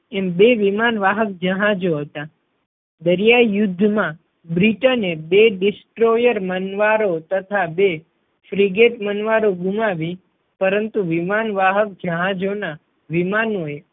એમ બે વિમાન વાહક જહાજો હતા. દરિયાઈ યુદ્ધ માં બ્રિટને બે distroyar મનવારો તથા બે friget મનવારો ગુમાવી પરંતુ વિમાન વાહક જહાજો ના વિમાનો એ